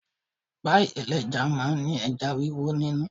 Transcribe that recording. Páì ẹlẹ́ja máa ń ní ẹja wíwó nínú.